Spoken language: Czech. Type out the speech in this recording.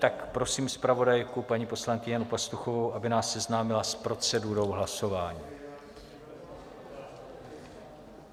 Tak prosím zpravodajku paní poslankyni Janu Pastuchovou, aby nás seznámila s procedurou hlasování.